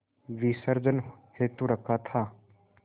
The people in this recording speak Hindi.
विसर्जन हेतु रखा था